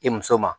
I muso ma